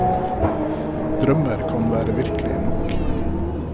Drømmer kan være virkelige nok.